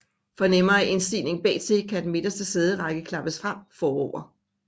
For nemmere indstigning bagtil kan den midterste sæderække klappes frem forover